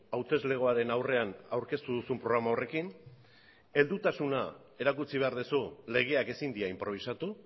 hauteslegoaren aurrean aurkeztu duzun programa horrekin heldutasuna erakutsi behar duzu legeak ezin dira inprobisatu